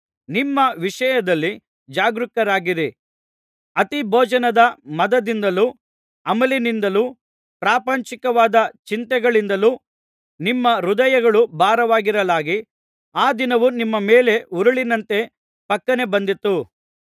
ನಿಮ್ಮ ವಿಷಯದಲ್ಲಿ ಜಾಗರೂಕರಾಗಿರಿ ಅತಿ ಭೋಜನದ ಮದದಿಂದಲೂ ಅಮಲಿನಿಂದಲೂ ಪ್ರಾಪಂಚಿಕವಾದ ಚಿಂತೆಗಳಿಂದಲೂ ನಿಮ್ಮ ಹೃದಯಗಳು ಭಾರವಾಗಿರಲಾಗಿ ಆ ದಿನವು ನಿಮ್ಮ ಮೇಲೆ ಉರುಲಿನಂತೆ ಫಕ್ಕನೆ ಬಂದೀತು